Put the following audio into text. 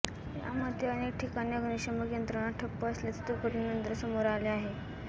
यामध्ये अनेक ठिकाणी अग्निशमन यंत्रणा ठप्प असल्याचे दुर्घटनेनंतर समोर आले आहे